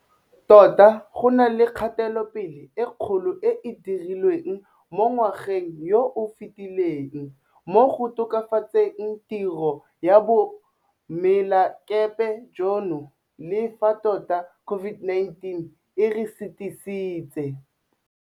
Tota go na le kgatelopele e kgolo e e dirilweng mo ngwageng yo o fetileng mo go tokafatseng tiro ya boemelakepe jono, le fa tota COVID-19 e re sitisitse.